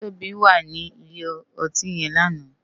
Tobi wá ni ilé òtín yèn làná